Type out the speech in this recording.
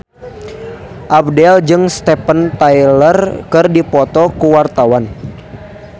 Abdel jeung Steven Tyler keur dipoto ku wartawan